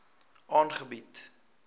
aangebied